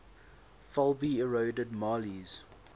fulbe eroded mali's